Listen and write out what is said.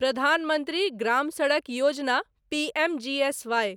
प्रधान मंत्री ग्राम सडक योजना पीएमजीएसआई